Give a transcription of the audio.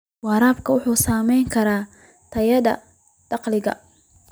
Waraabka wuxuu saameyn karaa tayada dalagga.